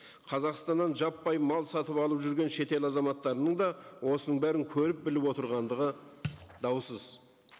қазақстаннан жаппай мал сатып алып жүрген шетел азаматтарының да осының бәрін көріп біліп отырғандығы даусыз